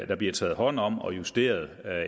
der bliver taget hånd om og justeret